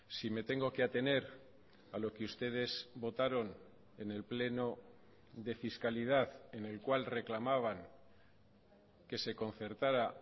si me tengo que atener a lo que ustedes votaron en el pleno de fiscalidad en el cual reclamaban que se concertara